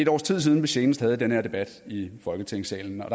års tid siden vi senest havde den her debat i folketingssalen og